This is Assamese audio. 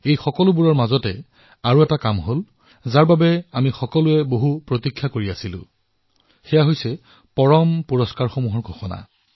এই আটাইবোৰৰ মাজত আৰু এটা কাম সম্পন্ন হল যাৰ বাবে আমি সকলোৱে দীৰ্ঘ প্ৰতীক্ষিত হৈ থাকো সেয়া হল পদ্ম পুৰষ্কাৰৰ ঘোষণা